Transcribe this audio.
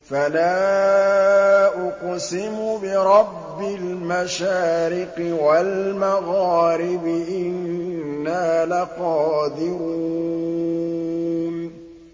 فَلَا أُقْسِمُ بِرَبِّ الْمَشَارِقِ وَالْمَغَارِبِ إِنَّا لَقَادِرُونَ